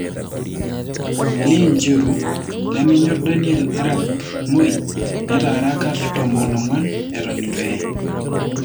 Lee Njiru:lemenyor Daniel Arap Moi'netaraa kat tomon onguan'eton etu eye .